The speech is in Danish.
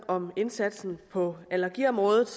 om indsatsen på allergiområdet